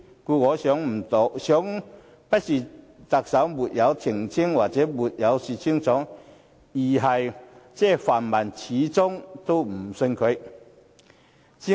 故此，我認為不是特首沒有澄清或沒有說清楚，而是泛民始終不肯相信他。